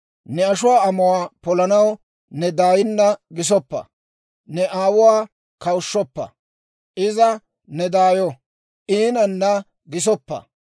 Ne ashuwaa amuwaa polanaw ne daayinna gisoppa; ne aawuwaa kawushshoppa. Iza ne daayo; iinanna gisoppa.